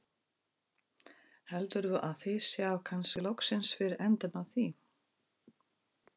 Heldurðu að þið sjáið kannski loksins fyrir endann á því?